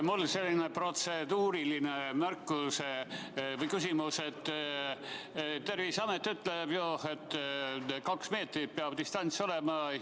Mul on selline protseduuriline märkus, et Terviseamet ütleb, et kaks meetrit peab distants olema.